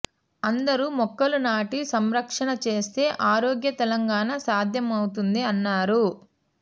అందరూ మొక్కలు నాటి సంరక్షణ చేస్తే ఆరోగ్య తెలంగాణ సాధ్యమవుతుంది అన్నారు